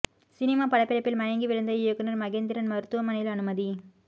cinema படப்பிடிப்பில் மயங்கி விழுந்த இயக்குனர் மகேந்திரன் மருத்துவமனையில் அனுமதி